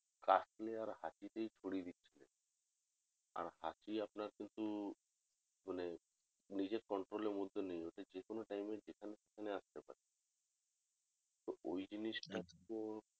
কাশলে আর হাঁচিতে ছড়িয়ে দিচ্ছিলো আর হাঁচি আপনার কিন্তু মানে নিজের control এর মধ্যে নেই ওটা যেকোনো time এ যেখানে সেখানে আস্তে পারে তো ওই জিনিস টা কে